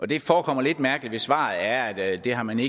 det forekommer lidt mærkeligt hvis svaret er at det har man i